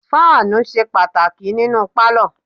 Fáànù ṣe pàtàkì nínú pálọ̀.